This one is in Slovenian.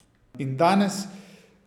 In danes?